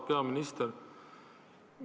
Auväärt peaminister!